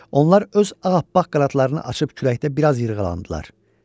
Onlar öz ağappaq qanadlarını açıb küləkdə bir az yırğalandılar.